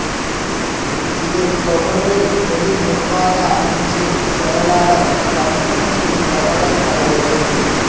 இது தொடர்பில் பொது நிர்வாக அமைச்சின் செயலாளர் ரட்ணசிறி தகவல் தருகையில்